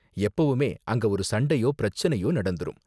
எப்பவுமே அங்க ஒரு சண்டையோ பிரச்சனையோ நடந்துரும்.